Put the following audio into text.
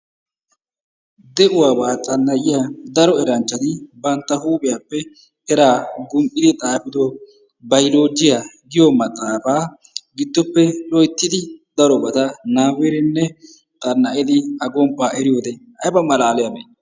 de'uwaba xanna'iya daro eranchchati bantta huuphiyappe eraa gum'idio xaafido bayloojjiya giyo maxaafaa gidoppe loyttidi darobata nababbidinne xanna'idi A gomppaa eriyode ayba malaaliyabee?